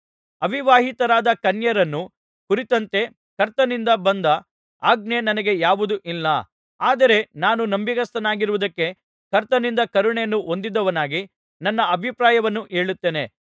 ಅವಿವಾಹಿತರಾದ ಕನ್ಯೆಯರನ್ನು ಕುರಿತಂತೆ ಕರ್ತನಿಂದ ಬಂದ ಆಜ್ಞೆ ನನಗೆ ಯಾವುದೂ ಇಲ್ಲ ಆದರೆ ನಾನು ನಂಬಿಗಸ್ತನಾಗಿರುವುದಕ್ಕೆ ಕರ್ತನಿಂದ ಕರುಣೆಯನ್ನು ಹೊಂದಿದವನಾಗಿ ನನ್ನ ಅಭಿಪ್ರಾಯವನ್ನು ಹೇಳುತ್ತೇನೆ